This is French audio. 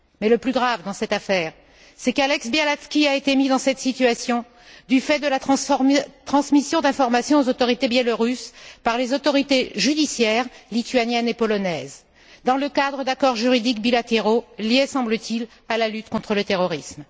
Mais le plus grave, dans cette affaire, c'est qu'Ales Bialatski a été mis dans cette situation en raison de la transmission d'informations aux autorités biélorusses par les autorités judiciaires lituaniennes et polonaises dans le cadre d'accords juridiques bilatéraux liés, semble t il, à la lutte contre le terrorisme.